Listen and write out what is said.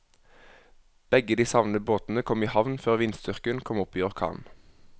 Begge de savnede båtene kom i havn før vindstyrken kom opp i orkan.